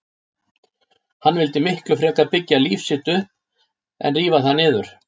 Hann vildi miklu frekar byggja líf sitt upp en rífa það niður.